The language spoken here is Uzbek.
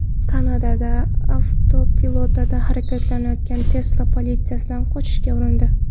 Kanadada avtopilotda harakatlanayotgan Tesla politsiyadan qochishga urindi.